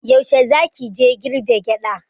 Yaushe za ki je girbe gyaɗa?